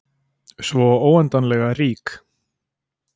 Svo óendanlega rík.